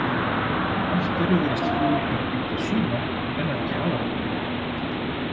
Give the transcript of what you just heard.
Af hverju virðast flugurnar bíta suma en ekki aðra?